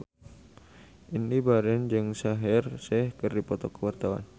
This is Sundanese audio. Indy Barens jeung Shaheer Sheikh keur dipoto ku wartawan